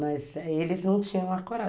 Mas eles não tinham a coragem.